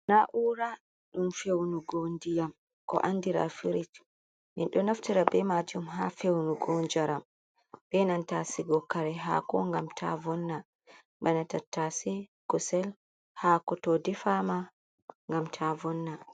Na'ura ɗum fe'unugo ndiyam ko andira firij, min ɗo naftira be maajum haa fe'unugo njaram, be nanta sigugo haako ngam ta vonna, bana tattasi, kusel, haako to difama ngam ta vonna.